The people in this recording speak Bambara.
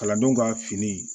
Kalandenw ka fini